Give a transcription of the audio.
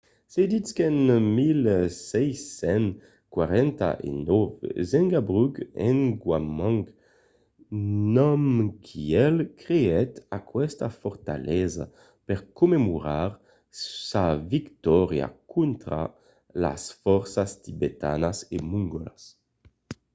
se ditz qu’en 1649 zhabdrung ngawang namgyel creèt aquesta fortalesa per commemorar sa victòria contra las fòrças tibetanas e mongòlas